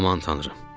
Aman tanrım.